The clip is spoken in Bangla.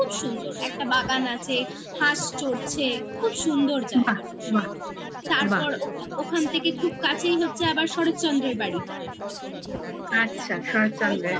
খুব সুন্দর একটা বাগান আছে হাঁস চড়ছে খুব সুন্দর জায়গা বাহ বাহ তারপর ওখান থেকে ওখান থেকে খুব কাছেই হচ্ছে আবার শরৎচন্দ্রের বাড়িটা